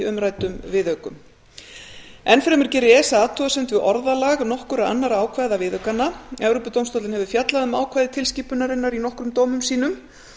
umræddum viðaukum enn fremur gerir esa athugasemd við orðalag nokkurra annarra ákvæða viðaukanna evrópudómstóllinn hefur fjallað um ákvæði tilskipunarinnar í nokkrum dómum sínum